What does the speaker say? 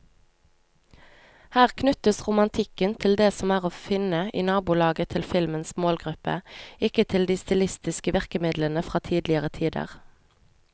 Her knyttes romantikken til det som er å finne i nabolaget til filmens målgruppe, ikke til de stilistiske virkemidlene fra tidligere tider.